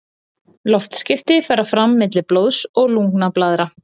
loftskipti fara fram milli blóðs og lungnablaðra